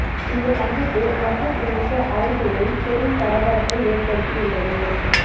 இந்த சந்திப்பு மத்திய பிரதேச அரசியலில் பெரும் பரபரப்பை ஏற்படுத்தி உள்ளது